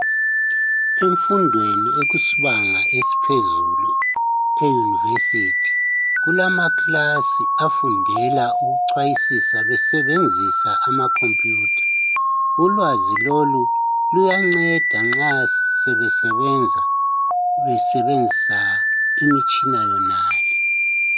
Emfundweni ekusibanga esiphezulu e"University "kulama" class" afundela ukuchwayisisa besebenzisa amakhompuyutha ulwazi lolu luyanceda nxa sebesebenza besebenzisa imitshina yonaleyi.